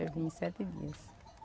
Eu vim em sete dias.